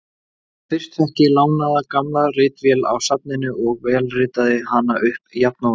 En fyrst fékk ég lánaða gamla ritvél á safninu og vélritaði hana upp jafnóðum.